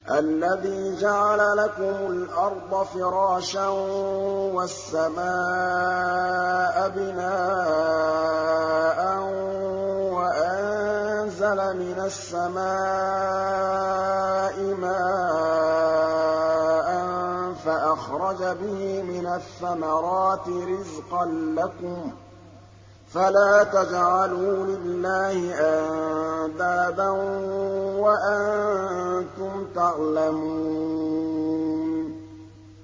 الَّذِي جَعَلَ لَكُمُ الْأَرْضَ فِرَاشًا وَالسَّمَاءَ بِنَاءً وَأَنزَلَ مِنَ السَّمَاءِ مَاءً فَأَخْرَجَ بِهِ مِنَ الثَّمَرَاتِ رِزْقًا لَّكُمْ ۖ فَلَا تَجْعَلُوا لِلَّهِ أَندَادًا وَأَنتُمْ تَعْلَمُونَ